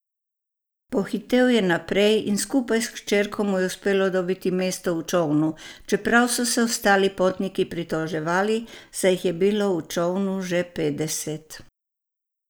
Pohitel je naprej in skupaj s hčerko mu je uspelo dobiti mesto v čolnu, čeprav so se ostali potniki pritoževali, saj jih je bilo v čolnu že petdeset.